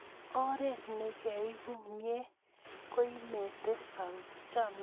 Oret nekieku mye koimete chomyet.